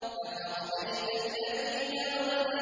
أَفَرَأَيْتَ الَّذِي تَوَلَّىٰ